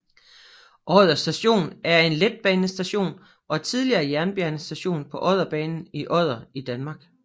Odder Station er en letbanestation og tidligere jernbanestation på Odderbanen i Odder i Danmark